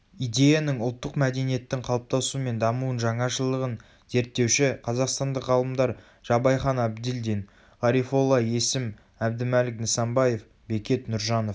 идеяның ұлттық мәдениеттің қалыптасуы мен дамуын жаңашылдығын зерттеуші қазақстандық ғалымдар жабайхан әбділдин ғарифолла есім әбдімәлік нысанбаев бекет нұржанов